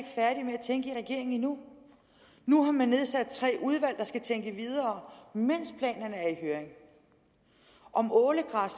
tænke i regeringen endnu nu har man nedsat tre udvalg der skal tænke videre mens planerne er i høring om ålegræs